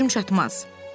Ona gücüm çatmaz.